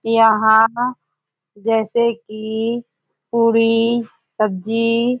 यहाँ जैसे की पूड़ी सब्जी--